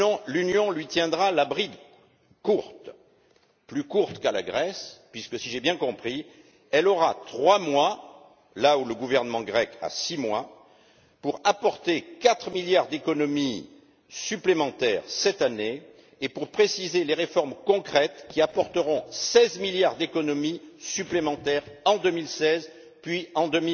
L'Union lui tiendra la bride courte. Plus courte qu'à la Grèce puisque, si j'ai bien compris, elle aura trois mois là où le gouvernement grec a six mois pour apporter 4 milliards d'économies supplémentaires cette année et pour préciser les réformes concrètes qui apporteront 16 milliards d'économies supplémentaires en 2016 puis en